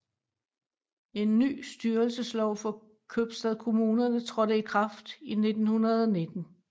En ny styrelseslov for købstadkommunerne trådte i kraft i 1919